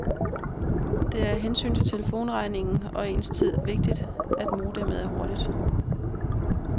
Det er af hensyn til telefonregningen og ens tid vigtigt, at modemet er hurtigt.